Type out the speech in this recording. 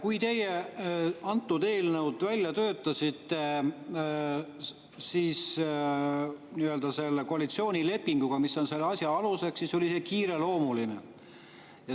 Kui te selle eelnõu välja töötasite nii-öelda selle koalitsioonilepinguga, mis on selle asja aluseks, siis oli see kiireloomuline.